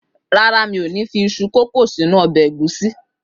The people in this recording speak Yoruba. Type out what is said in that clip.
Rárá, mi ò ní fi iṣu kòkó sínú ọbẹ̀ ẹ̀gúsí.